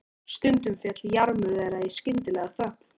Stundum féll jarmur þeirra í skyndilega þögn.